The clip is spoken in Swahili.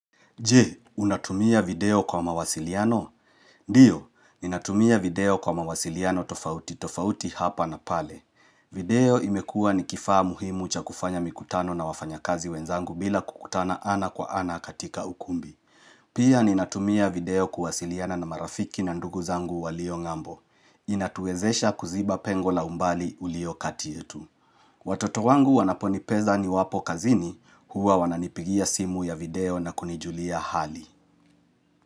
Je, unatumia video kwa mawasiliano? Ndiyo, ninatumia video kwa mawasiliano tofauti tofauti hapa na pale. Video imekuwa ni kifaa muhimu cha kufanya mikutano na wafanya kazi wenzangu bila kukutana ana kwa ana katika ukumbi. Pia ninatumia video kuwasiliana na marafiki na ndugu zangu walio ng'ambo. Inatuwezesha kuziba pengo la umbali ulio kati yetu. Watoto wangu wanaponipeza niwapo kazini huwa wananipigia simu ya video na kunijulia hali.